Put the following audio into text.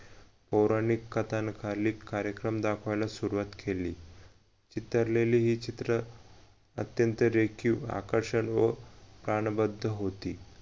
पौराणिक कथान कालीक कार्यक्रम दाखवायला सुरवात केली इतरलेली हे चित्र अत्यंत रेखीव आकर्षित व प्राणबद्ध होती